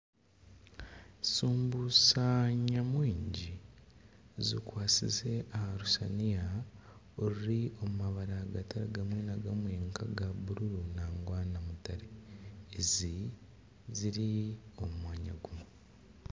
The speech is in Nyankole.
Sumbusa nyamwingi zikwatsize aha rusaaniya oruri omu mabara gatari gamwe na gamwe nka aga bururu hamwe na mutare ezi ziri omu mwanya gumwe